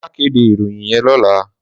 Má kédé iróyin yèn lòlá